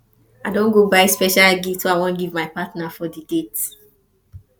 i don buy special gift wey i go give my partner for di date